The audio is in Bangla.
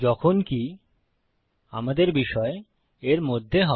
যখনকি আমাদের বিষয় এর মধ্যে হবে